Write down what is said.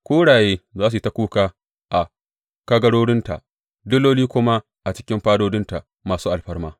Kuraye za su yi ta kuka a kagarorinta, diloli kuma a cikin fadodinta masu alfarma.